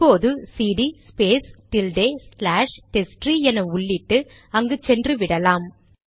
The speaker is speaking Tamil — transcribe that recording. இப்போது cd space tilde slash test tree என உள்ளிட்டு அங்கு சென்று விடலாம்